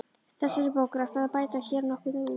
Þessari bók er ætlað að bæta hér nokkuð úr.